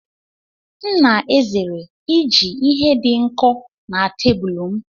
M na-ezere iji ihe dị nkọ n'cabulu m.